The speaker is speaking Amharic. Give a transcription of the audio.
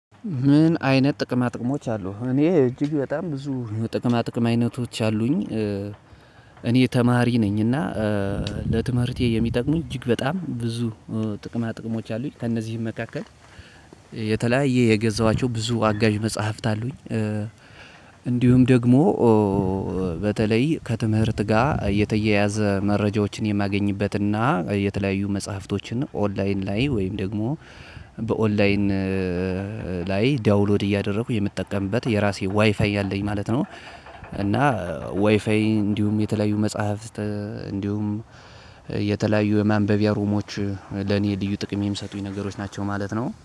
ምን አይነት ጥቅማ ጥቅሞች አሉህ እኔ እጅግ በጣም ብዙ ጥቅማ ጥቅማ አይነቶች አሉኝ። እኔ ተማሪ ነኝ እና ለትምህርቴ የሚጠቅሙኝ እጅግ በጣም ብዙ ጥቅማጥቅሞች አሉት ከነዚህ መካከል የተለያየ ብዙ የገዛዋቸው አጋዥ መጽሐፎች አሉኝ። እንዲሁም ደግሞ በተለይ ከትምህርት ጋር የተያያዘ መረጃዎችን የማገኝበትና የተለያዩ መጽሐፍቶችን ኦንላይን ላይ ወይም ደግሞ በኦንላይን ላይ ዳውንሎድ እያደረኩ የምትጠቀምበት የራሴ ዋይፋይ ያለኝ ማለት ነው። እና ዋይፋይ እንዲሁም የተለያዩ መጽሐፍት እንዲሁም የተለያዩ የማንበቢያ ሩሞች ለኔ የልዩ ጥቅሜም የሰጡኝ ነገሮች ናቸው ማለት ነው